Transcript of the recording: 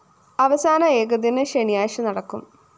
അവസാന ഏകദിനം ശനിയാഴ്ച നടക്കും